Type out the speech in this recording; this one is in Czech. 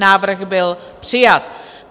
Návrh byl přijat.